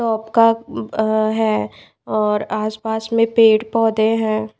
आपका है और आस पास में पेड़ पौधे हैं।